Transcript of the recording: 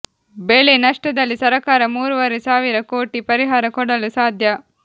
ಬೆಳೆ ನಷ್ಟದಲ್ಲಿ ಸರಕಾರ ಮೂರೂವರೆ ಸಾವಿರ ಕೋಟಿ ಪರಿಹಾರ ಕೊಡಲು ಸಾಧ್ಯ